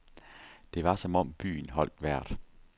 Det var som om byen holdt vejret.